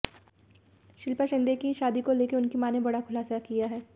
शिल्पा शिंदे की शादी को लेकर उनकी मां ने बड़ा खुलासा किया हैं